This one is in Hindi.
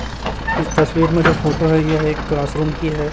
इस तस्वीर में जो फोटो है यह एक क्लासरूम की है।